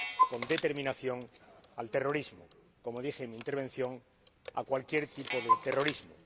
con determinación al terrorismo ─como dije en mi intervención─, a cualquier tipo de terrorismo.